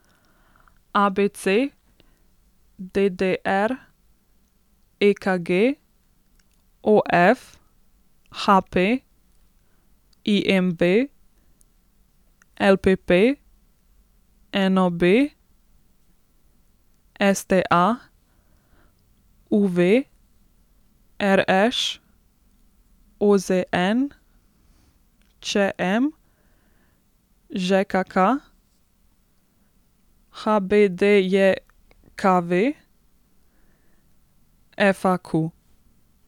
ABC, DDR, EKG, OF, HP, IMV, LPP, NOB, STA, UV, RŠ, OZN, ČM, ŽKK, HBDJKV, FAQ.